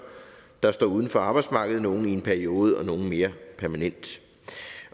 der står uden for arbejdsmarkedet nogle i en periode og nogle mere permanent